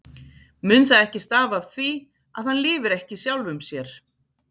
Mun það ekki stafa af því, að hann lifir ekki sjálfum sér?